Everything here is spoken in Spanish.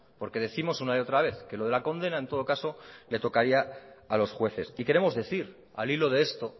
porque décimos una y otra vez que lo de la condena en todo caso le tocaría a los jueces y queremos decir al hilo de esto